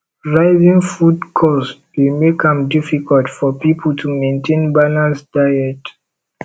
rising food cost dey make am difficult for people to maintain balanced diet